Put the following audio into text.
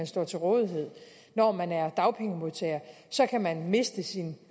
står til rådighed når man er dagpengemodtager kan man miste sin